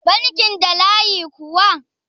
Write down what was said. bankin da layi kuwa?